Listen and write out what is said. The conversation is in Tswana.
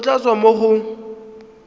go tla tswa mo go